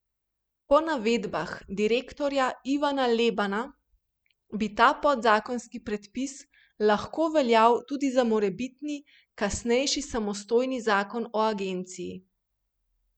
Po navedbah direktorja Ivana Lebana bi ta podzakonski predpis lahko veljal tudi za morebitni kasnejši samostojni zakon o agenciji.